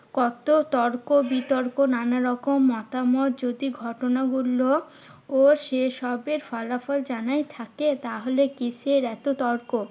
কত তর্ক বিতর্ক নানা রকম মতামত যদি ঘটনা গুলো ও শেষ হবে। ফলাফল জানাই থাকে তাহলে কিসের এত তর্ক?